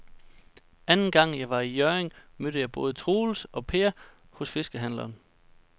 Anden gang jeg var i Hjørring, mødte jeg både Troels og Per hos fiskehandlerne.